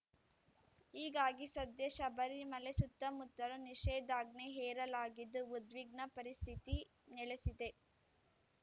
ಹೀಗಾಗಿ ಸದ್ಯ ಶಬರಿಮಲೆ ಸುತ್ತಮುತ್ತಲು ನಿಷೇಧಾಜ್ಞೆ ಹೇರಲಾಗಿದ್ದು ಉದ್ವಿಗ್ನ ಪರಿಸ್ಥಿತಿ ನೆಲೆಸಿದೆ